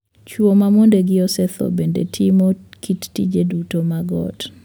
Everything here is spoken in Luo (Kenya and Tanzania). Chwo ma mondegi osethoo bende timo kit tije duto mag ot.